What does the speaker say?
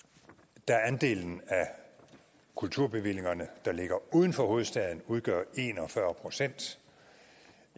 da andelen af kulturbevillingerne der ligger uden for hovedstaden udgør en og fyrre procent